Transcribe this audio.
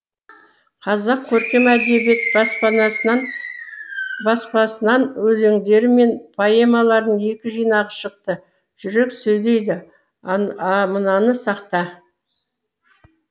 қазақ көркем әдебиет баспанасынан баспасынан өлеңдері мен поэмаларының екі жинағы шықты жүрек сөйлейді а мынаны сақта